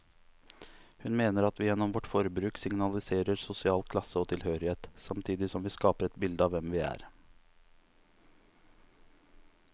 Hun mener at vi gjennom vårt forbruk signaliserer sosial klasse og tilhørighet, samtidig som vi skaper et bilde av hvem vi er.